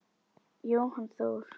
Jóhann Þór.